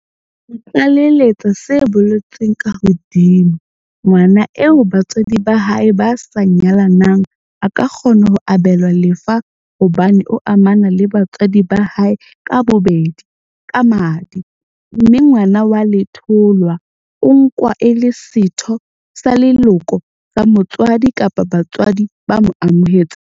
Ho tlaleletse se boletsweng ka hodima, ngwana eo ba tswadi ba hae ba sa nyalanang a ka kgona ho abelwa lefa hobane o amana le batswadi ba hae ka bobedi ka madi, mme ngwana wa letholwa o nkwa e le setho sa leloko sa motswadi kapa batswadi ba mo amohetseng.